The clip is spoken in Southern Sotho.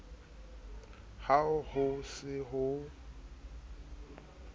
ha ho se ho ho